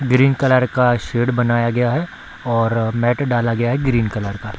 Green colour का shade बनाया गया है और मैट डाला गया है ग्रीन कलर का।